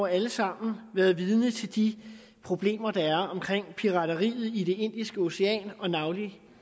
alle sammen har været vidne til de problemer der er omkring pirateriet i det indiske ocean og navnlig